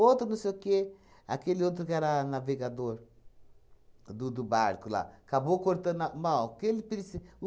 não sei o quê, aquele outro que era navegador do do barco lá, acabou cortando a mal o que ele preci